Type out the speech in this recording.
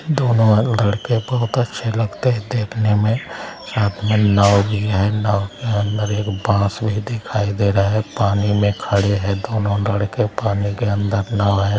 दो लड़के बहुत अच्छा लगता है देखने में साथ में नाव भी है नाव के अंदर एक बाँस भी दिखाई दे रहा है पानी में खड़े है दोनों लड़के पानी के अंदर नाव है।